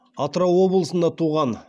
атырау облысында туған